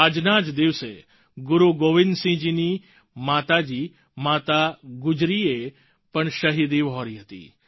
આજના જ દિવસે ગુરુ ગોવિંદ સિંહજીની માતા જી માતા ગુજરી એ પણ શહિદી વહોરી હતી